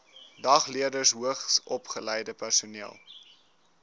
dagleerders hoogsopgeleide personeel